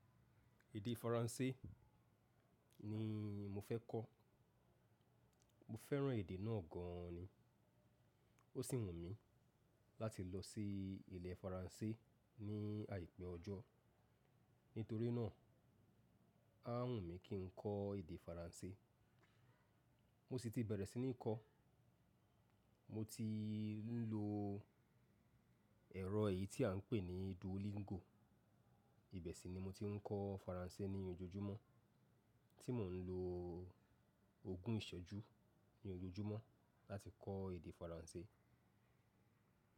Èdè Faransé ni mo fẹ́ kọ́. Mo fẹ́ràn èdè náà gan ni. Ó sì wù mí láti lọ sí ilẹ̀ Faransé ní àìpẹ́ ọjọ́. Nítorí náà, á wùn mí kí n kọ́ èdè Faransé. Mo sì ti bẹ̀rẹ̀ sí ní kọ́. Mo ti ń lo ẹ̀rọ èyí tí à ń pè ní Duolingo. Ìbẹ̀ ṣi ni mo ti ń kọ́ Faransé ní ojoojúmọ́ tí mò ń lo ogún ìṣejú ní ojoojúmọ́ láti kọ́ èdè Faransé.